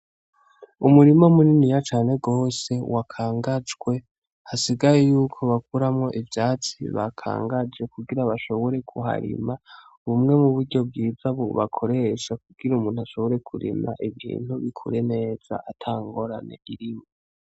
Umurima munini cane gose wakangajwe hasigaye yuko bakuramwo ivyatsi bakangaje kugira bashobore kuharima umwe mu buryo bwiza bakoresha kugira umuntu ashobore kurima ibintu abikore neza atangorane birimwo.